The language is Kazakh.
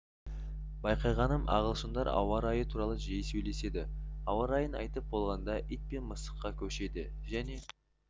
байқағаным ағылшындар ауа райы туралы жиі сөйлеседі ауа райын айтып болғанда ит пен мысыққа көшеді және